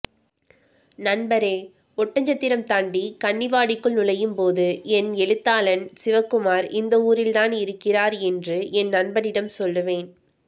நண்பரே ஒட்டஞ்சத்திரம் தாண்டி கன்னிவாடிக்குள் நுழையும்போது என் எழுத்தாளான் சிவகுமார் இந்த ஊரில்தான் இருக்கிறார் என்று என் நண்பனிடம் சொல்லுவேன்